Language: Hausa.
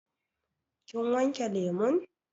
Kin wanke lemun?